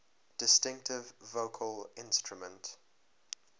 distinctive vocal instrument